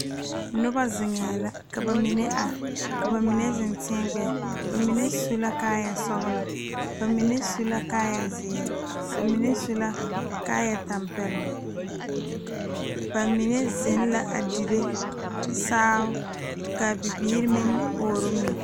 Noba zeŋe la ka bamine are ka bamine zeŋ teɛ gbɛɛ bamine su kaaya sɔglɔ, bamine su la kaaya ziiri, bamine su kaaya tanpɛloŋ bamine zeŋ la a dire saao kaa bibiiri meŋ ɔɔre mui.